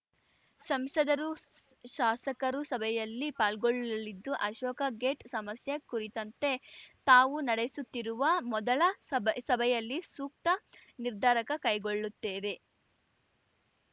ಸಂಸದರು ಶಾಸಕರೂ ಸಭೆಯಲ್ಲಿ ಪಾಲ್ಗೊಳ್ಳಲಿದ್ದು ಅಶೋಕ ಗೇಟ್‌ ಸಮಸ್ಯೆ ಕುರಿತಂತೆ ತಾವು ನಡೆಸುತ್ತಿರುವ ಮೊದಲ ಸಬ್ ಸಭೆಯಲ್ಲಿ ಸೂಕ್ತ ನಿರ್ಧಾರಕ ಕೈಗೊಳ್ಳುತ್ತೇವೆ